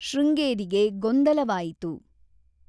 ಶೃಂಗೇರಿಗೆ ಗೊಂದಲವಾಯಿತು.